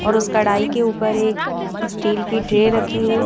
और उस कढ़ाई के ऊपर एक स्टील की ट्रे रखी है।